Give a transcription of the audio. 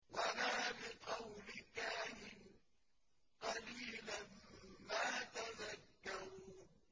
وَلَا بِقَوْلِ كَاهِنٍ ۚ قَلِيلًا مَّا تَذَكَّرُونَ